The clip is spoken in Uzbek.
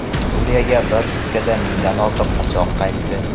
Suriyaga bir sutkada mingdan ortiq qochoq qaytdi.